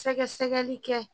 Sɛgɛsɛgɛli kɛ.